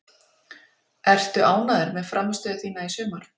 Ertu ánægður með frammistöðu þína í sumar?